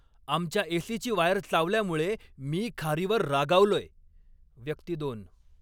आमच्या ए.सी.ची वायर चावल्यामुळे मी खारीवर रागावलोय. व्यक्ती दोन